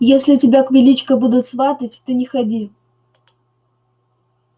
если тебя к величко будут сватать ты не ходи